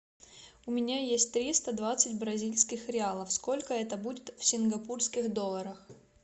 у меня есть триста двадцать бразильских реалов сколько это будет в сингапурских долларах